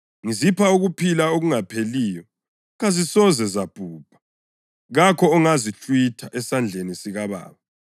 Ngizipha ukuphila okungapheliyo, kazisoze zabhubha; kakho ongazihlwitha esandleni sikaBaba.